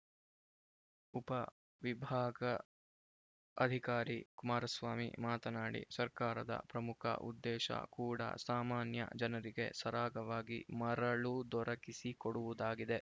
ಉಪವಿಭಾಗ ಅಧಿಕಾರಿ ಕುಮಾರಸ್ವಾಮಿ ಮಾತನಾಡಿ ಸರ್ಕಾರದ ಪ್ರಮುಖ ಉದ್ದೇಶ ಕೂಡ ಸಾಮಾನ್ಯ ಜನರಿಗೆ ಸರಾಗವಾಗಿ ಮರಳು ದೊರಕಿಸಿ ಕೊಡುವುದಾಗಿದೆ